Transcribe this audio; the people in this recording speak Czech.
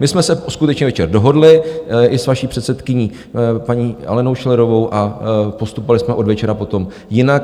My jsme se skutečně večer dohodli i s vaší předsedkyní paní Alenou Schillerovou a postupovali jsme od večera potom jinak.